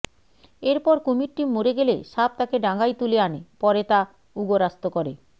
এরপর কুমিরটি মরে গেলে সাপ তাকে ডাঙ্গায় তুলে আনে পরে তা উগরাস্ত করে